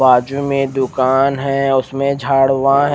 बाजू में एक दूकान है उसमे झाड उगा है।